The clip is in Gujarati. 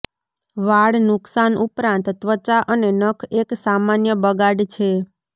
વાળ નુકશાન ઉપરાંત ત્વચા અને નખ એક સામાન્ય બગાડ છે